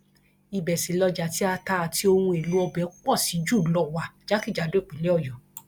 ibẹ sì lọjá tí ata àti ohun èèlò ọbẹ pọ sí jù lọ wà jákèjádò ìpínlẹ ọyọ